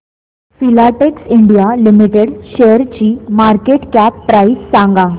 Filatex India limited शेअरची market cap price सांगा